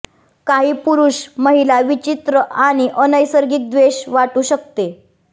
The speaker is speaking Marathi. काही पुरुष महिला विचित्र आणि अनैसर्गिक द्वेष वाटू शकते